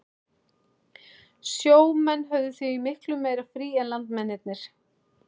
Sjó menn höfðu því miklu meira frí en landmennirnir.